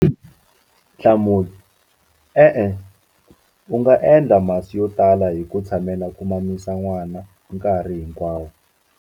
Nhlamulo- E-e, u nga endla masi yo tala hi ku tshamela ku mamisa n'wana nkarhi hinkwawo.